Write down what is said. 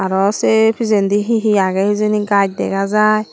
arow sey pijendi hi hi agey hijeni gaj dega jai.